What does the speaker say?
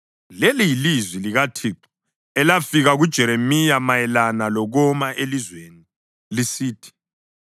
Leli yilizwi likaThixo elafika kuJeremiya mayelana lokoma elizweni lisithi: